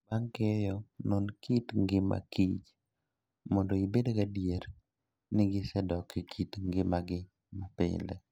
Bang' keyo, non kit ngima kich mondo ibed gadier ni gisedok e kit ngimagi mapile